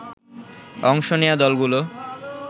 অংশ নেয়া দলগুলো